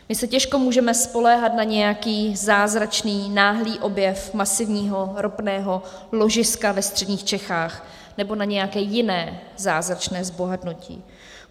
My se těžko můžeme spoléhat na nějaký zázračný náhlý objev masivního ropného ložiska ve středních Čechách nebo na nějaké jiné zázračné zbohatnutí.